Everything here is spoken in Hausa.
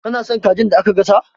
Kana son kajin da aka gasa?